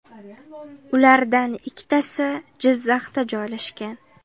Ulardan ikkitasi Jizzaxda joylashgan.